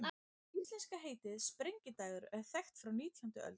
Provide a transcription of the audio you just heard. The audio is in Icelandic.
Íslenska heitið, sprengidagur, er þekkt frá átjándu öld.